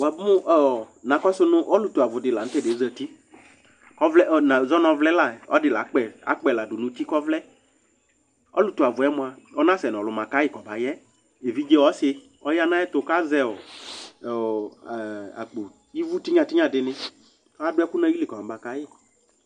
Na kɔsʋ nʋ ɔlʋtuavu la nʋ tʋ ɛdɩ yɛ zǝtɩ "Nazɔ nʋ ɔvlɛ la yɛ Ɔlɔdɩ la akpɛ ĺdu nʋ uti kʋ ɔvlɛ" Ɔlʋtuavu yɛ mʋa, ɔnasɛ nʋ alu makayi kɔ bayɛ Evidze ɔsɩ ɔyanʋ ayɛtʋ, kʋ azɛ akpo "ɩvʋ" tɩnya tɩnya dɩnɩ kʋ adu ɛkʋ nʋ ayili kɔma kayi